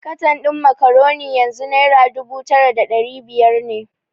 Katan din Macaroni yanzu Naira dubu tara da dari biyar ne.